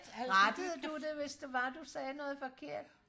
rettede du det hvis det var du sagde noget forkert